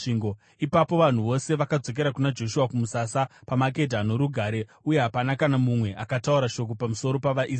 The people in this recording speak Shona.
Ipapo vanhu vose vakadzokera kuna Joshua kumusasa paMakedha norugare, uye hapana kana mumwe akataura shoko pamusoro pavaIsraeri.